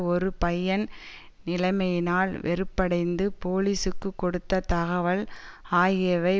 ஒரு பையன் நிலைமையினால் வெறுப்படைந்து போலீசுக்கு கொடுத்த தகவல் ஆகியவை